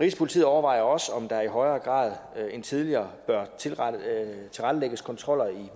rigspolitiet overvejer også om der i højere grad end tidligere bør tilrettelægges kontroller i